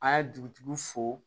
An ye dugutigi fo